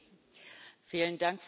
Frau Präsidentin!